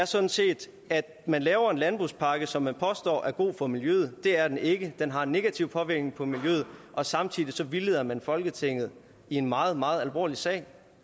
sådan set er at man laver en landbrugspakke som man påstår er god for miljøet det er den ikke den har en negativ påvirkning på miljøet og samtidig så vildleder man folketinget i en meget meget alvorlig sag